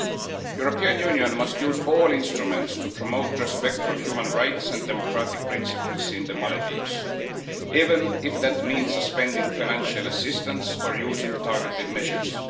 The European Union must use all instruments to promote respect for human rights and democratic principles in the Maldives, even if that means suspending financial assistance or using targeted measures.